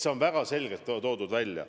See on väga selgelt välja toodud.